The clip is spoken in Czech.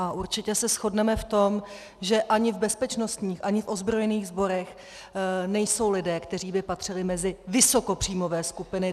A určitě se shodneme v tom, že ani v bezpečnostních, ani v ozbrojených sborech nejsou lidé, kteří by patřili mezi vysokopříjmové skupiny.